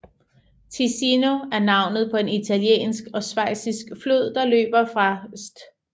Ticino er navnet på en italiensk og schweizisk flod der løber fra St